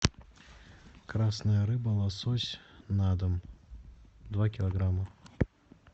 красная рыба лосось на дом два килограмма